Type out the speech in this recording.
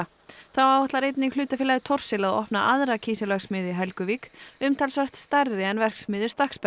þá áætlar einnig hlutafélagið Thorsil að opna aðra kísilverksmiðju í Helguvík umtalsvert stærri en verksmiðju